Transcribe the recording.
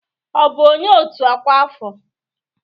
Ọ bụ onye otu ọkwa afọ?